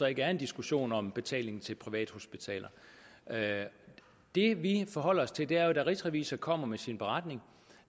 ikke er en diskussion om betalingen til privathospitaler det vi forholder os til er jo da rigsrevisor kommer med sin beretning og